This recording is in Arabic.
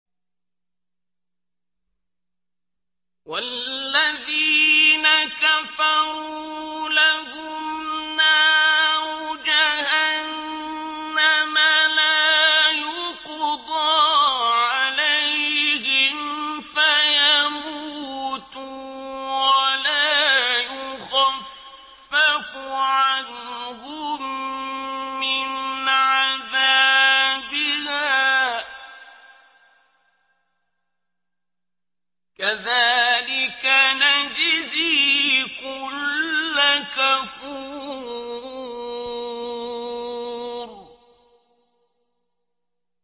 وَالَّذِينَ كَفَرُوا لَهُمْ نَارُ جَهَنَّمَ لَا يُقْضَىٰ عَلَيْهِمْ فَيَمُوتُوا وَلَا يُخَفَّفُ عَنْهُم مِّنْ عَذَابِهَا ۚ كَذَٰلِكَ نَجْزِي كُلَّ كَفُورٍ